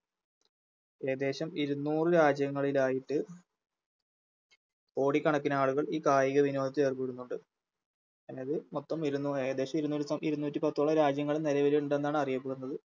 ഏകദേശം ഇരുന്നൂറ് രാജ്യങ്ങളിലായിട്ട് കോടിക്കണക്കിനാളുകൾ ഈ കായികവിനോദത്തിലേർപ്പെടുന്നുണ്ട് അതായത് മൊത്തം ഇരുന്നൂറ് ഏകദേശം ഇരുനൂറ് ഇരുന്നൂറ്റിപ്പത്തോളം രാജ്യങ്ങളും നിലവില്ണ്ടെന്നാണ് അറിയപ്പെടുന്നത്